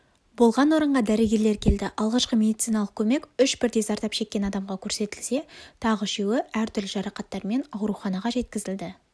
болған орынға дәрігерлер келді алғашқы медициналық көмек үш бірдей зардап шеккен адамға көрсетілсе тағы үшеуі әр түрлі жарақаттармен ауруханаға жеткізілді